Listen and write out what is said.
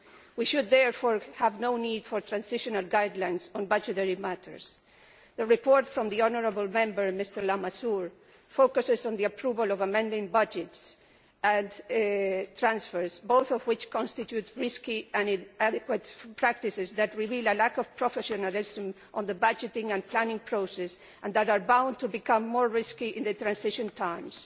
We should therefore have no need for transitional guidelines on budgetary matters. The report from the honourable Member, Mr Lamassoure, focuses on the approval of amending budgets and transfers, both of which constitute risky and inadequate practices that reveal a lack of professionalism as concerns the budgeting and planning process and are bound to become more risky in transitional periods.